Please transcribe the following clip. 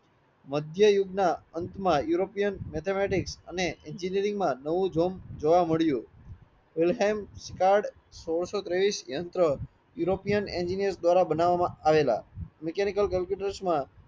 મધ્ય યુગ ના અંતમાં એયુરોપિયાં મેથેમેટિક્સ અને એન્જિનિરીંગમાં નવું જમ્પ જોવા મળ્યું સોળસો ત્રેવીસ યંત્ર એયુરોપિયાં એન્જીનીરસ દ્વારા બનાવામાં આવેલા મિકેનિકલ કોમ્પ્યુટર્સ માં